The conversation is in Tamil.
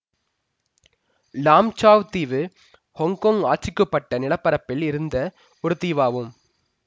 லாம் ச்சாவ் தீவு ஹொங்கொங் ஆட்சிக்குட்பட்ட நிலப்பரப்பில் இருந்த ஒரு தீவாகும்